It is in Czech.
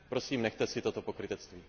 Prosím, nechte si toto pokrytectví.